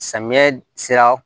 Samiyɛ sera